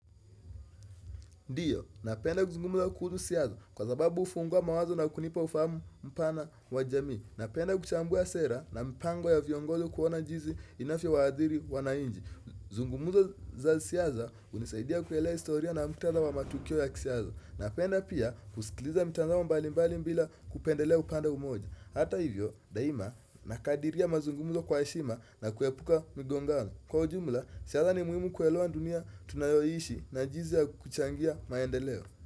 Ndiyo, napenda kuzungumza kuhusu hisia yangu kwa sababu hufungua mawazo na kunipa ufahamu mpana wa jamii. Napenda kuchambua sera na mpango ya viongozi kuona jizi inavyowaathiri wanainchi. Mazungumzo za siasa hunisaidia kuelewa historia na mkutadha wa matukio ya kisiasa. Napenda pia kusikiliza mtazamo mbalimbali bila kupendelea upande mmoja. Hata hivyo, daima nakadiria mazungumuzo kwa heshima na kuyaepuka migongano. Kwa ujumla, siasa ni muhimu kuekewaa dunia tunayoiishi na jinsi ya kuchangia maendeleo.